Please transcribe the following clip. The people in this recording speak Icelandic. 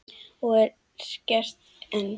Og er gert enn.